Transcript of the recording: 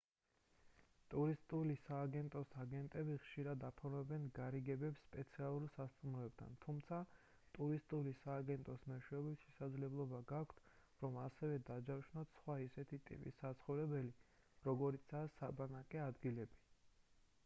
ტურისტული სააგენტოს აგენტები ხშირად აფორმებენ გარიგებებს სპეციალურ სასტუმროებთან თუმცა ტურისტული სააგენტოს მეშვეობით შესაძლებლობა გაქვთ რომ ასევე დაჯავშნოთ სხვა ისეთი ტიპის საცხოვრებლები როგორიცაა საბანაკე ადგილები